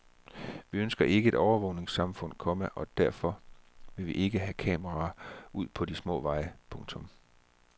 Vi ønsker ikke et overvågningssamfund, komma og derfor vil vi ikke have kameraer ud på de små veje. punktum